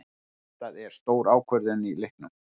Þetta er stór ákvörðun í leiknum.